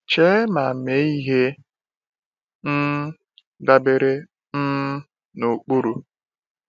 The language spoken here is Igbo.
Chee ma mee ihe um dabere um na ụkpụrụ.